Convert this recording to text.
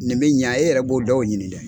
Nin bɛ ɲa e yɛrɛ b'o dɔw ɲini dɛ.